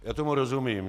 Já tomu rozumím.